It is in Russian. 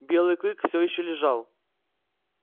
белый клык всё ещё лежал